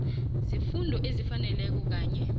zefundo ezifaneleko kanye